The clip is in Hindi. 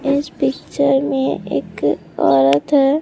इस पिक्चर में एक औरत है।